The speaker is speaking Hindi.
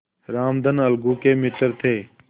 रामधन अलगू के मित्र थे